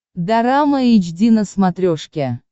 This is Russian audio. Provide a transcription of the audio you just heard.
дорама эйч ди на смотрешке